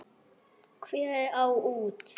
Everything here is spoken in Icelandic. Hún var fegin því.